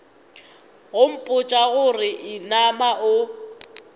go mpotša gore inama o